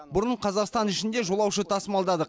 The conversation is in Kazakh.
бұрын қазақстан ішінде жолаушы тасымалдадық